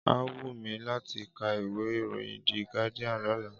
Á wù mí láti ká ìwé ìròyìn The Guardian lọ́la.